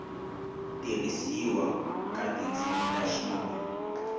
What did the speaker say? tirhisiwa ka tindzimi ta xintu